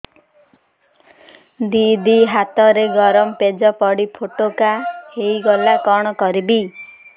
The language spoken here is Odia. ଦିଦି ହାତରେ ଗରମ ପେଜ ପଡି ଫୋଟକା ହୋଇଗଲା କଣ କରିବି